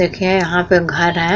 देखिये यहाँ पे घर हैं।